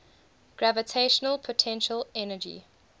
gravitational potential energy